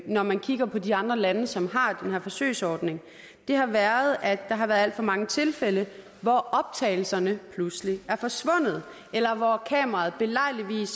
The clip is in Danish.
når man kigger på de andre lande som har den her forsøgsordning har været at der har været alt for mange tilfælde hvor optagelserne pludselig er forsvundet eller hvor kameraet belejligt